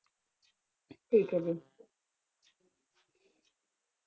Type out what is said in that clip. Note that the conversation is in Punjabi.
ਠੀਕ ਹੈ